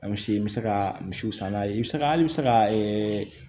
An misi n bɛ se ka misiw san n'a ye i bɛ se ka halisa ɛɛ